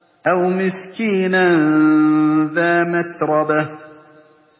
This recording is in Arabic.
أَوْ مِسْكِينًا ذَا مَتْرَبَةٍ